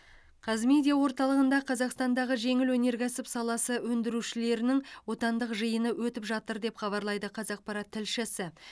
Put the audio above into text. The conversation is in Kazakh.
қазмедиа орталығында қазақстандағы жеңіл өнеркәсіп саласы өндірушілерінің отандық жиыны өтіп жатыр деп хабарлайды қазақпарат тілшісі